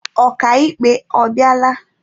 Ọka ikpe ọ bịala?